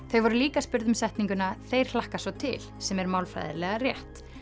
þau voru líka spurð um setninguna þeir hlakka svo til sem er málfræðilega rétt